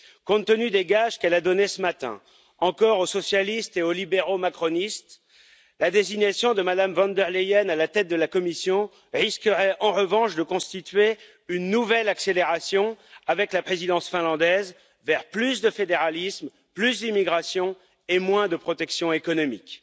Compte tenu des gages qu'elle a donnés ce matin encore aux socialistes et aux libéraux macronistes, la désignation de Mme von der Leyen à la tête de la Commission risquerait en revanche de constituer une nouvelle accélération, avec la Présidence finlandaise, vers plus de fédéralisme, plus d'immigration et moins de protections économiques.